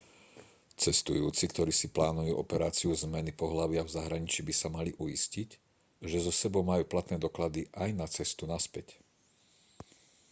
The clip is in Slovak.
cestujúci ktorí si plánujú operáciu zmeny pohlavia v zahraničí by sa mali uistiť že so sebou majú platné doklady aj na cestu naspäť